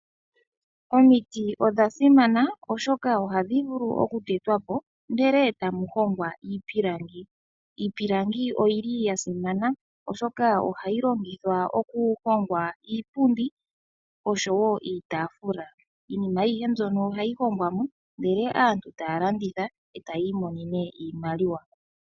Omiti odha simana oshoka ohadhi vulu okutetwa po ndele eta mu hongwa iipilangi. Iipilangi oya simana oshoka ohamu ningwa iipundi osho woo iitaafula. Iinima mbino ohayi vulu okulandithwa ndele aantu eta ya mono iimaliwa.